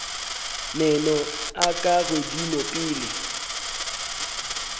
meno a ka godimo pele